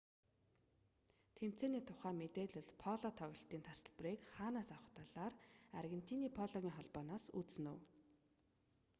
тэмцээний тухай мэдээлэл поло тоглолтын тасалбарыг хаанаас авах талаар аргентиний пологын холбооноос үзнэ үү